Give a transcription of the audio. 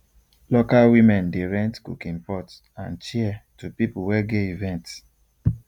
local women dey rent cooking pot and chair to people wey get event